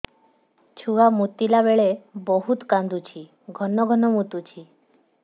ଛୁଆ ମୁତିଲା ବେଳେ ବହୁତ କାନ୍ଦୁଛି ଘନ ଘନ ମୁତୁଛି